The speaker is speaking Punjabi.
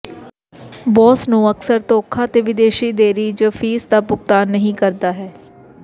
ਬੌਸ ਨੂੰ ਅਕਸਰ ਧੋਖਾ ਦੇ ਵਿਦੇਸ਼ੀ ਦੇਰੀ ਜ ਫੀਸ ਦਾ ਭੁਗਤਾਨ ਨਹੀ ਕਰਦਾ ਹੈ